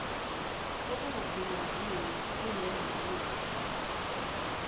okungagunyaziwe kunoma yimuphi